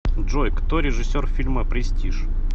джой кто режиссер фильма престиж